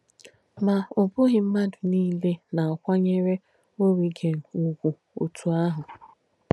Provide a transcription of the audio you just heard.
Mà, ọ̀ bùghī m̀madù nílē nà-àkwányére Origen ụ̀gwù ótù àhù.